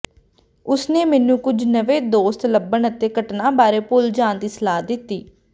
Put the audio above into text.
ਉਸ ਨੇ ਮੈਨੂੰ ਕੁਝ ਨਵੇਂ ਦੋਸਤ ਲੱਭਣ ਅਤੇ ਘਟਨਾ ਬਾਰੇ ਭੁੱਲ ਜਾਣ ਦੀ ਸਲਾਹ ਦਿੱਤੀ